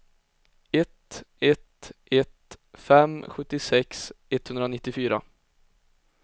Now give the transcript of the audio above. ett ett ett fem sjuttiosex etthundranittiofyra